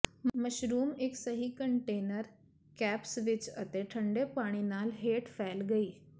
mushrooms ਇੱਕ ਸਹੀ container caps ਵਿੱਚ ਅਤੇ ਠੰਡੇ ਪਾਣੀ ਨਾਲ ਹੇਠ ਫੈਲ ਗਈ